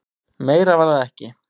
Meira var það ekki.